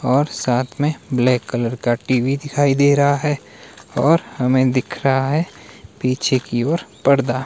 और साथ में ब्लैक कलर का टी_वी दिखाई दे रहा है और हमें दिख रहा है पीछे की ओर पर्दा।